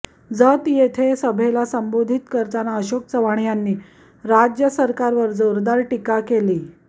जत येथे सभेला संबोधित करताना अशोक चव्हाण यांनी राज्य सरकारवर जोरदार टीका केली